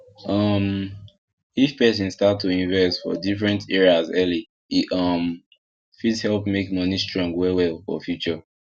um if person start to invest for different areas early e um fit help make money strong wellwell for future